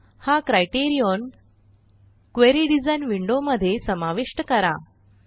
हा criterion query design window मध्ये समाविष्ट करा